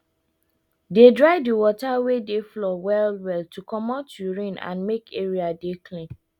dey dry the water wey dey for floor well well to comot urine and make area dey clean